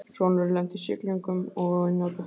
Sonurinn lenti í siglingum og á eina dóttur